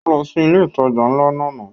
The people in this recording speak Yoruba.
Ó lọ sí ilé ìtajà ńlá lánàá